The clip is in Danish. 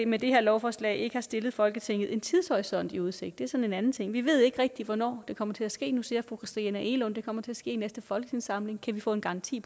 med det her lovforslag ikke har stillet folketinget en tidshorisont i udsigt det er så en anden ting vi ved ikke rigtig hvornår det kommer til at ske nu siger fru christina egelund at det kommer til at ske i næste folketingssamling kan vi få en garanti